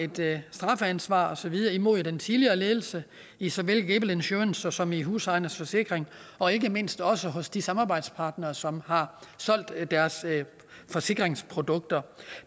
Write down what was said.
strafansvar og så videre imod den tidligere ledelse i såvel gable insurance som i husejernes forsikring og ikke mindst også hos de samarbejdspartnere som har solgt deres forsikringsprodukter